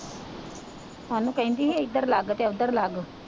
ਉਹਨੂੰ ਕਹਿੰਦੀ ਸੀ, ਇੱਧਰ ਲੱਗ ਅਤੇ ਉੱਧਰ ਲੱਗ